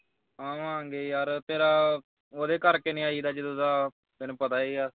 ਆਵਾਂਗੇ ਯਾਰ ਤੇਰਾ ਉਹਦੇ ਕਰਕੇ ਨਹੀਂ ਆਈਦਾ ਜਦੋਂ ਦਾ ਤੈਨੂੰ ਪਤਾ ਈ ਆ